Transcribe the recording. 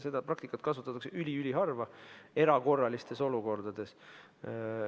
Seda praktikat kasutatakse üli-üliharva, erakorralistes olukordades.